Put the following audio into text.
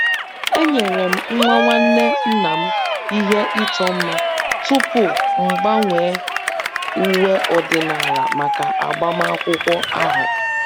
enyere m nwa nwanne nna m ihe ịchọ mma tupu m gbanwee uwe ọdịnala maka agbamakwụkwọ ahụ